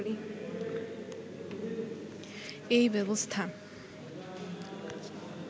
এই ব্যবস্থা